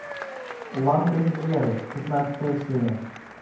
лангольеры пятнадцатая серия